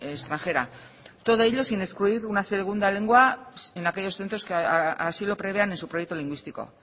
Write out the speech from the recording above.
extranjera todo ello sin excluir una segunda lengua en aquellos centros que así lo prevean en su proyecto lingüístico